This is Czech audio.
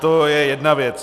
To je jedna věc.